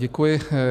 Děkuji.